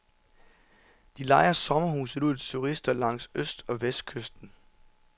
De lejer sommerhuset ud til turister langs øst- og vestkysten.